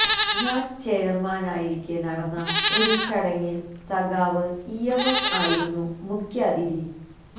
ഞാൻ ചെയർമാൻ ആയിരിക്കെ നടന്ന ഒരു ചടങ്ങിൽ സഖാവ് ഇ എം എസ് ആയിരുന്നു മുഖ്യാതിഥി